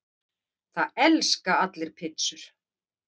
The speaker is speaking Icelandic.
Það elska allir pizzur!